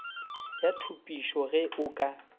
ya thupišo ge o ka